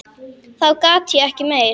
Þá gat ég ekki meir.